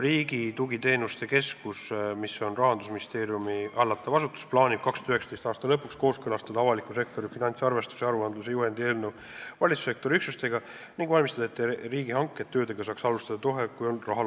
Riigi Tugiteenuste Keskus, mis on Rahandusministeeriumi hallatav asutus, plaanib 2019. aasta lõpuks kooskõlastada valitsussektori üksustega avaliku sektori finantsarvestuse ja -aruandluse juhendi eelnõu ning valmistada ette riigihanke, et töödega saaks alustada kohe, kui raha on laekunud.